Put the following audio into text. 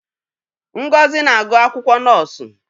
Ngozi na-agụ akwụkwọ nọọsụ.